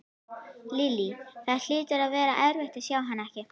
Lillý: Það hlýtur að vera erfitt að sjá hana ekki?